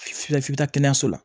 F'i bɛ taa kɛnɛyaso la